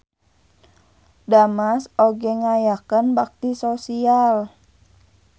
Damas oge ngayakeun bakti sosial.